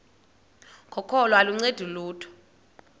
kokholo aluncedi lutho